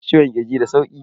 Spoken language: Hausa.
Ciwon kirji da sauki.